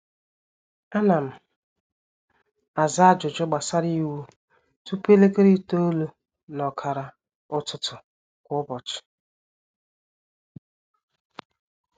ánà m àzá ájụjụ gbàsárá iwu tụpụ elekere itoolu nà ọkàrà ụtụtụ kwa ụbọchị